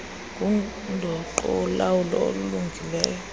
ngundoqo wolawulo olulungileyo